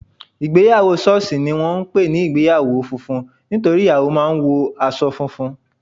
Ìgbéyàwó sọ́ọ̀sì ni wọ́n ń pè ní ìgbéyàwó funfun nítorí ìyàwó máa wo aṣọ funfun